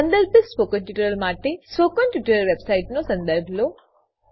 સંદર્ભિત સ્પોકન ટ્યુટોરીયલો માટે સ્પોકન ટ્યુટોરીયલ વેબસાઈટનો સંદર્ભ લો